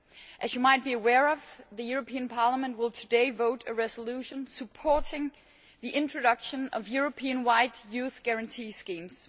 As you might be aware, Parliament will today vote on a resolution supporting the introduction of European wide youth guarantee schemes.